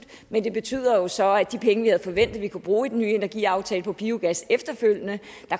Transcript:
men det betyder så at de penge vi havde forventet vi kunne bruge i den nye energiaftale på biogas efterfølgende